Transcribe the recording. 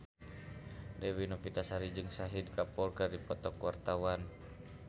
Dewi Novitasari jeung Shahid Kapoor keur dipoto ku wartawan